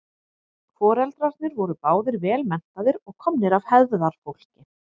foreldrarnir voru báðir vel menntaðir og komnir af hefðarfólki